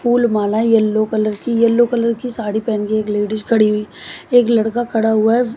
फूल माला yellow colour की yellow colour की साड़ी पहन के एक लेडीज खड़ी हुई है एक लड़का खड़ा हुआ है।